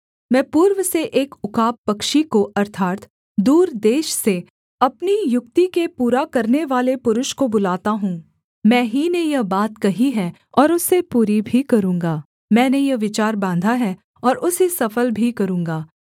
मैं पूर्व से एक उकाब पक्षी को अर्थात् दूर देश से अपनी युक्ति के पूरा करनेवाले पुरुष को बुलाता हूँ मैं ही ने यह बात कही है और उसे पूरी भी करूँगा मैंने यह विचार बाँधा है और उसे सफल भी करूँगा